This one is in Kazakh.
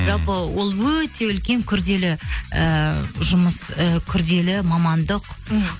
жалпы ол өте үлкен күрделі ііі жұмыс і күрделі мамандық м